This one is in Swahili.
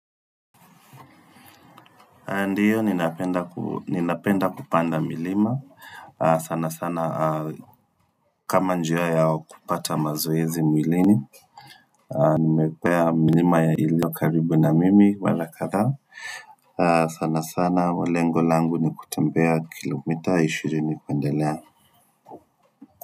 Ndiyo ninapenda kupanda milima sana sana kama njia ya kupata mazoezi mwilini nimepea milima iliyo karibu na mimi mara kadha sana sana lengo langu nikutembea kilomita ishiri kuendelea.